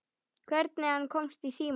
Hvernig hann komst í síma.